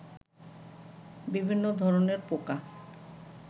বিভিন্ন ধরনের পোকা